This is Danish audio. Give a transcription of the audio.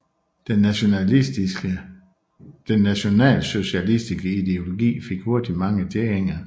Den nationalsocialistiske ideologi fik hurtigt mange tilhængere